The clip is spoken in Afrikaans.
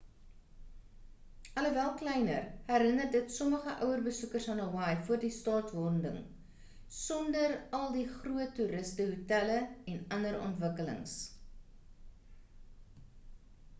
alhoewel kleiner herinner dit sommige ouer besoekers aan hawaii voor die staatwording sonder al die groot toeriste hotelle en ander ontwikkeling